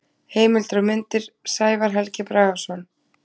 Heimildir og myndir: Sævar Helgi Bragason.